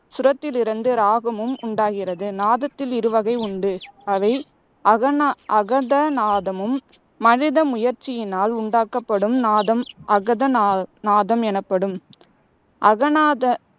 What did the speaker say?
சுரத்திலிருந்து இராகமும் உண்டாகிறது. நாதத்தில் இரு வகை உண்டு அவை அகநா அகதநாதமும் மனித முயற்சியினால் உண்டாக்கப்படும் நாதம் அகத நா நாதம் எனப்படும். அகநாத